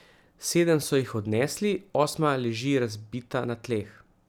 Sedem so jih odnesli, osma leži razbita na tleh.